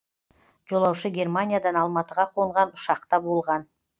жолаушы германиядан алматыға қонған ұшақта болған